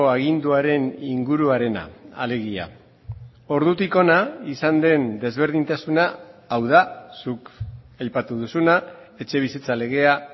aginduaren inguruarena alegia ordutik hona izan den desberdintasuna hau da zuk aipatu duzuna etxebizitza legea